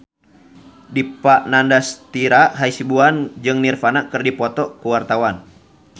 Dipa Nandastyra Hasibuan jeung Nirvana keur dipoto ku wartawan